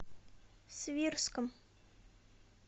свирском